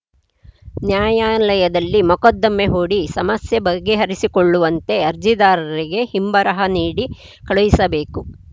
ನ್ಯಾಯಾಲಯದಲ್ಲಿ ಮೊಕದ್ದಮೆ ಹೂಡಿ ಸಮಸ್ಯೆ ಬಗೆಹರಿಸಿಕೊಳ್ಳುವಂತೆ ಅರ್ಜಿದಾರರಿಗೆ ಹಿಂಬರಹ ನೀಡಿ ಕಳುಹಿಸಬೇಕು